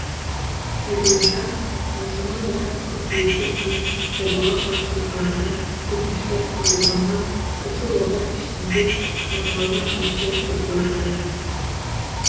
айтуынша маусымнан бастап қыркүйекке дейін жобаға қатысушылардан өтініштер қабылданған осы уақыт ішінде порталына үміткер тіркеліпті